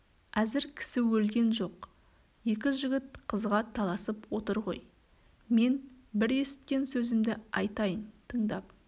әзір кісі өлген жоқ екі жігіт қызға таласып отыр ғой мен бір есіткен сөзімді айтайын тыңдап